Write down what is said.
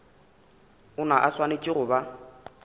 ona a swanetše go ba